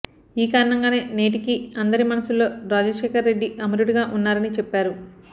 ఈ కారణంగానే నేటికీ అందరి మనస్సుల్లో రాజశేఖరరెడ్డి అమరుడుగా ఉన్నారని చెప్పారు